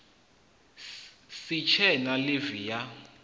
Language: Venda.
si tshe na ḽivi ya